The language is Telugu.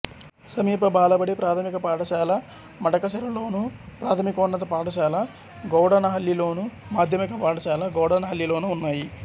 సమీప బాలబడి ప్రాథమిక పాఠశాల మడకశిరలోను ప్రాథమికోన్నత పాఠశాల గౌడనహళ్ళిలోను మాధ్యమిక పాఠశాల గౌడనహళ్ళిలోనూ ఉన్నాయి